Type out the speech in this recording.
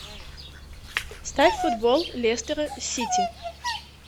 ставь футбол лестера сити